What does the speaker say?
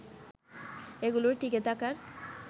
এগুলোর টিকে থাকার